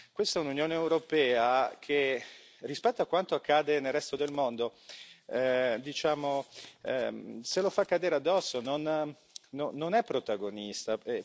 Ma questa è un'Unione europea che, rispetto a quanto accade nel resto del mondo, diciamo, se lo fa cadere addosso, non è protagonista.